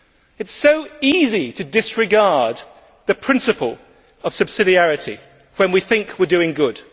It is so easy to disregard the principle of subsidiarity when we think we are doing good.